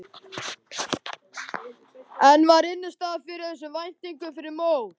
En var innistæða fyrir þessum væntingum fyrir mót?